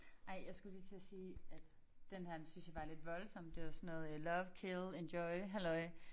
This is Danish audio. Ej jeg skulle lige til at sige at den her den synes jeg var lidt voldsom. Det var sådan noget øh love kille enjoy halløj